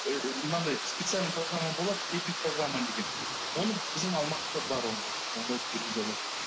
мынандай специальная программа болады эпидпрограмма деген оны біздің алматыда бар ол оны жүргізе алады